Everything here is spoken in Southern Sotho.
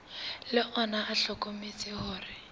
le ona o hlokometse hore